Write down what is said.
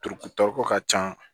Turutɔ ka ca